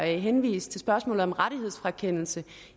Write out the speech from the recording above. henvist til spørgsmålet om rettighedsfrakendelse